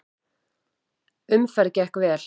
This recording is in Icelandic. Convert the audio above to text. Umferð gekk vel.